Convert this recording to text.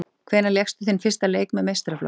Hvenær lékstu þinn fyrsta leik með meistaraflokki?